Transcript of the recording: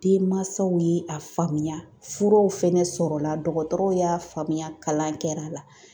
Denmansaw ye a faamuya furaw fɛnɛ sɔrɔ la dɔkɔtɔrɔw y'a faamuya kalan kɛra a la.